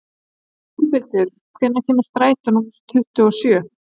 Úlfhildur, hvenær kemur strætó númer tuttugu og sjö?